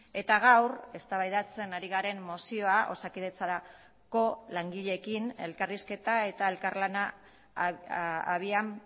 eta gaur eztabaidatzen ari garen mozioa osakidetzarako langileekin elkarrizketa eta elkarlana abian